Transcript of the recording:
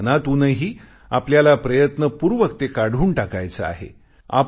मात्र मनातूनही आपल्याला प्रयत्नपूर्वक ते काढून टाकायचे आहे